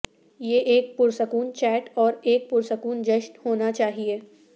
یہ ایک پرسکون چیٹ اور ایک پرسکون جشن ہونا چاہئے